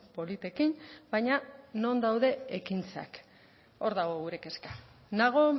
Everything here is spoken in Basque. politekin baina non daude ekintzak hor dago gure kezka nago